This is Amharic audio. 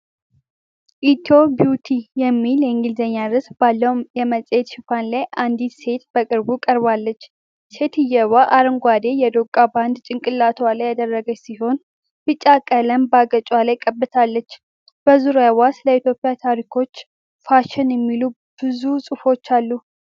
"ኢትዮ ቢዉትይ" የሚል የእንግሊዘኛ ርዕስ ባለው የመጽሔት ሽፋን ላይ አንዲት ሴት በቅርብ ቀርባለች። ሴትየዋ አረንጓዴ የዶቃ ባንድ ጭንቅላቷ ላይ ያደረገች ሲሆን፣ ቢጫ ቀለም በአገጯ ላይ ቀብታለች። በዙሪያዋ ስለ ኢትዮጵያ ታሪኮች፣ ፋሽን የሚሉ ብዙ ጽሑፎች አሉ።